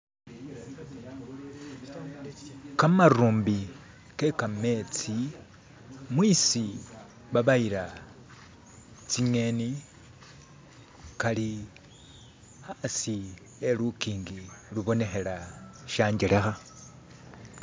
kamarumbi ke kametsi mwisi babayila tsingeni kali hasi khe lukingi lubonekhela shanjelekha